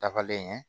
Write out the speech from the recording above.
Dafalen ye